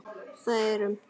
Það er um